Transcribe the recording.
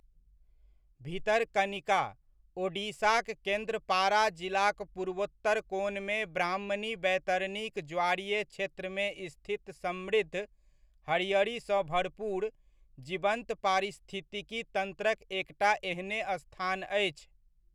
भितरकनिका, ओडिशाक केन्द्रपाड़ा जिलाक पूर्वोत्तर कोनमे ब्राह्मणी बैतरणीक ज्वारीय क्षेत्रमे स्थित समृद्ध, हरियरी सँ भरपूर, जीवन्त पारिस्थितिकी तंत्रक एकटा एहने स्थान अछि।